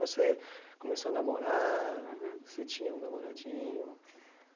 Você começou a namorar, você tinha um namoradinho.